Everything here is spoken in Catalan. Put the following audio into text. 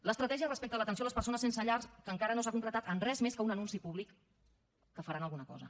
l’estratègia respecte a l’atenció a les persones sense llar que encara no s’ha concretat en res més que en un anunci públic que faran alguna cosa